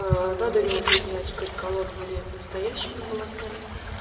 аа надо ли удлинять канекалон или настоящими волосами